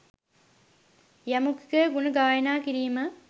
යමෙකුගේ ගුණ ගායනා කිරීම